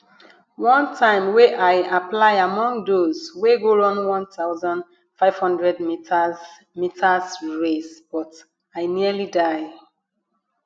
one time wey i apply among those wey go run 1500 meters meters race but i nearly die